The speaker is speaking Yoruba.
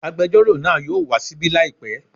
Agbẹjọ́rò náà yóò wá ṣíbí làìpẹ́